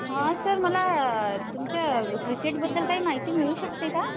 हा सर मला तुमच्या क्रिकेटबद्दल काही माहिती मिळू शकते का?